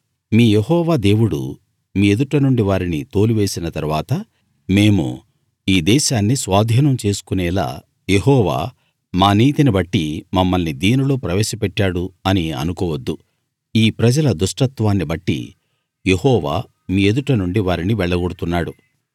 మీ యెహోవా దేవుడు మీ ఎదుట నుండి వారిని తోలివేసిన తరవాత మేము ఈ దేశాన్ని స్వాధీనం చేసుకునేలా యెహోవా మా నీతిని బట్టి మమ్మల్ని దీనిలో ప్రవేశపెట్టాడు అని అనుకోవద్దు ఈ ప్రజల దుష్టత్వాన్ని బట్టి యెహోవా మీ ఎదుట నుండి వారిని వెళ్లగొడుతున్నాడు